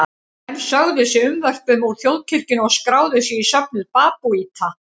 Menn sögðu sig unnvörpum úr þjóðkirkjunni og skráðu sig í söfnuð babúíta.